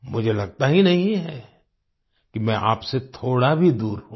मुझे लगता ही नहीं है कि मैं आपसे थोडा भी दूर हूँ